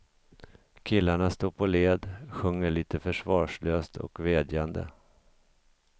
Killarna står på led, sjunger lite försvarslöst och vädjande.